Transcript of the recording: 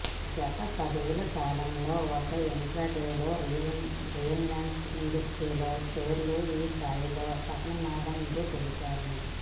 గత పదేళ్ల కాలంలో ఒక ఇంట్రాడేలో రిలయన్స్ ఇండస్ట్రీస్ షేర్లు ఈ స్థాయిలో పతనమవడం ఇదే తొలిసారి